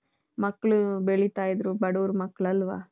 ಮಕ್ಕಳು ಬೆಳೀತಾ ಇದ್ರು ಬಡವರ ಮಕ್ಕಳಲ್ವಾ.